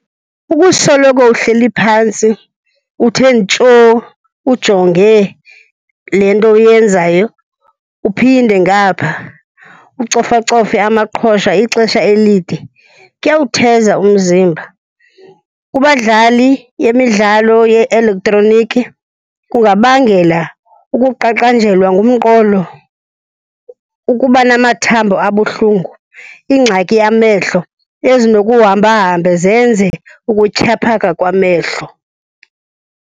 Ukusoloko uhleli phantsi uthe ntshoo ujonge le nto uyenzayo, uphinde ngapha ucofacofe amaqhosha ixesha elide, kuyawutheza umzimba. Kubadlali yemidlalo ye-elektroniki kungabangela ukuqaqanjelwa ngumqolo, ukuba namathambo abuhlungu, ingxaki yamehlo ezinokuhambahambe zenze ukutyhaphaka kwamehlo.